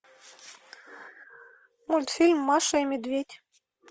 мультфильм маша и медведь